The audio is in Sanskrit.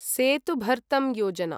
सेतु भर्तं योजना